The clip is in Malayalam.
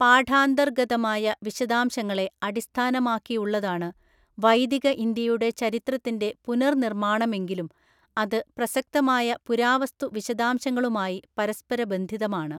പാഠാന്തര്‍ഗതമായ വിശദാംശങ്ങളെ അടിസ്ഥാനമാക്കിയുള്ളതാണ് വൈദിക ഇന്ത്യയുടെ ചരിത്രത്തിന്റെ പുനർനിർമ്മാണമെങ്കിലും അത് പ്രസക്തമായ പുരാവസ്തുവിശദാംശങ്ങളുമായി പരസ്പരബന്ധിതമാണ്.